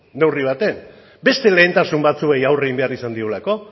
neurri batean beste lehentasun batzuei aurre egin izan behar diolako